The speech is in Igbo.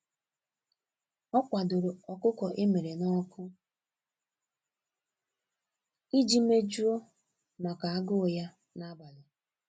Ọ kwadoro ọkụkọ emere n'ọkụ iji mejuo màkà agụụ ya n'abalị.